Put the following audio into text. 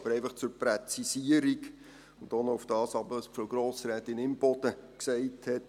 Aber einfach zur Präzisierung, und auch zu dem, was Frau Grossrätin Imboden gesagt hat: